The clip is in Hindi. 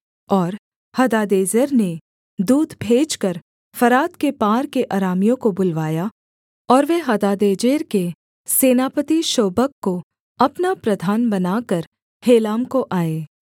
और हदादेजेर ने दूत भेजकर फरात के पार के अरामियों को बुलवाया और वे हदादेजेर के सेनापति शोबक को अपना प्रधान बनाकर हेलाम को आए